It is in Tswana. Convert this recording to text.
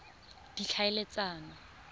ditlhaeletsano